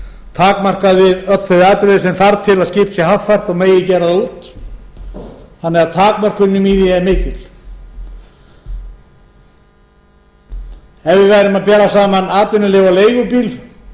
takmarkað við alla þau atriði sem þarf til að skip sé haffært og megi gera það út þannig að takmörkunin í því er mikil ef við værum að bera saman atvinnuleyfi á leigubíl